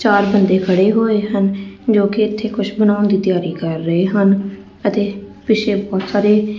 ਚਾਰ ਬੰਦੇ ਖੜੇ ਹੋਏ ਹਨ ਜੋਕਿ ਇੱਥੇ ਕੁਛ ਬਣਾਉਣ ਦੀ ਤਿਆਰੀ ਕਰ ਰਹੇ ਹਨ ਅਤੇ ਪਿੱਛੇ ਪੱਥਰ ਹੈ।